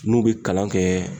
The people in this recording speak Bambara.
N'u be kalan kɛ